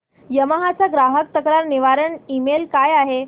Yamaha चा ग्राहक तक्रार निवारण ईमेल काय आहे